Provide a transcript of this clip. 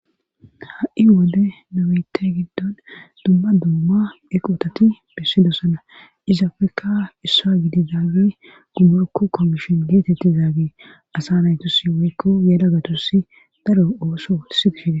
ha7i wode nu biite giddon dumma dumma eqotati bissidosana izafekka issuwa gididaagi dumorku komishon geetettizaagi asa naytusi woykko yelagatusi daro ooso sigifide